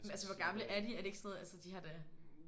Men altså hvor gamle er de? Er det ikke sådan noget? Altså de har da?